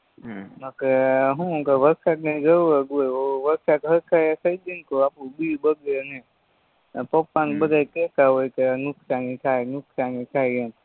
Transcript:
હમ બાકી શું વરસાદની જરૂરજ હોય વરસાદ સરખાયે થય જાય ને તો આપણું બી બગડે નય ને પપ્પાને બધાય કેતાહોય કે નુકસાની થાય નુકસાની થાય એમ